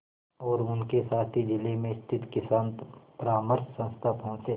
और उनके साथी जिले में स्थित किसान परामर्श संस्था पहुँचे